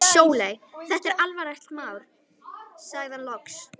Sóley, þetta er alvarlegt mál, sagði hann loks.